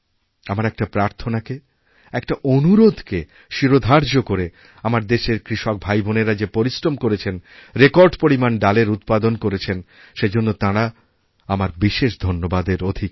আমার একটা প্রার্থনাকে একটা অনুরোধকে শিরোধার্য করেআমার দেশের কৃষক ভাইবোনেরা যে পরিশ্রম করেছেন রেকর্ড পরিমাণ ডালের উৎপাদনকরেছেন সেজন্য তাঁরা আমার বিশেষ ধন্যবাদের অধিকারী